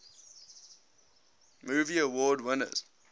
movie award winners